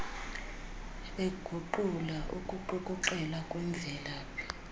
eguqula ukuqukuqela kwemvelaphi